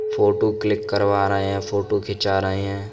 Photo click करवा रहे हैं फोटु खींचा रहे हैं।